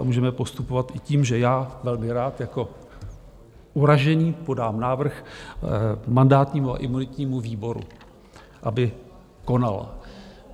A můžeme postupovat i tím, že já velmi rád jako uražený podám návrh mandátnímu a imunitnímu výboru, aby konal.